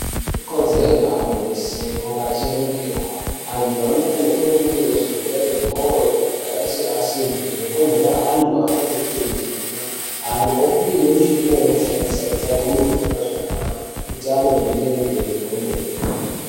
Ikodzero yeauntu weshe kunga achiningirwa antu anofanirwa irwa kuningirwa zvirwere zvemoyo zvakaita seasima zvinokonzera anhu atadze kufema zvakanaka anhu opiwa michina yekushandisa kuti agone kufema zvakanaka utano kuenderere mberi kwemene.